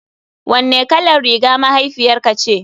Wanne kalar riga mahaifiyarka ce.